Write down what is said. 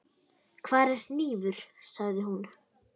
Hvar er hnífur, sagði hún.